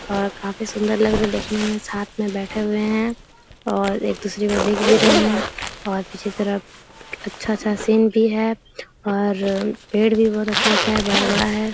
और काफी सुन्दर लग रहे है देखने में साथ में बैठे हुए है और एक दूसरे को देख भी रहे है और पीछे तरफ अच्छा सा सीन भी है और पेड़ भी बहुत अच्छा-अच्छा है बड़ा-बड़ा है।